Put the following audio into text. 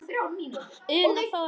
Una Þórey.